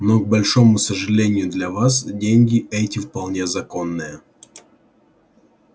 но к большому сожалению для вас деньги эти вполне законные